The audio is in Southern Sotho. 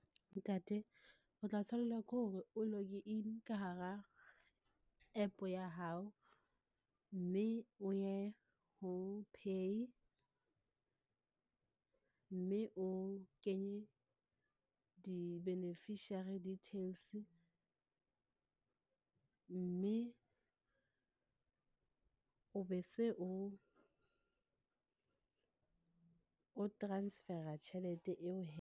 Ntate o tla tshwanela ke hore o log-e in ka hara app ya hao, mme o ye ho pay, mme o kenye di-beneficiary details, mme o be se o, o transfer-a tjhelete eo .